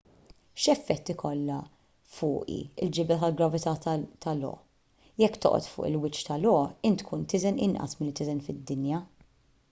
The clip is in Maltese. x'effett ikollha fuqi l-ġibda tal-gravità ta' io jekk toqgħod fuq il-wiċċ ta' io int tkun tiżen inqas milli tiżen fid-dinja